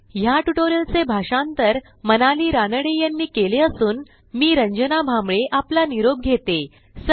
ह्या ट्युटोरियलचे भाषांतर मनाली रानडे यांनी केले असून मी रंजना भांबळे आपला निरोप घेते160